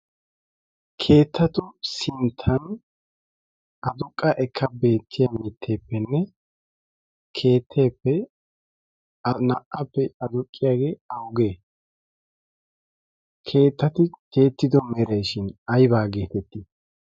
keettatu sinttan aduqqa ekka beettiya mitteeppenne keetteeppe naa''appe aduqqiyaagee augee keettati tiyyettido mereeshin aibaa geetettii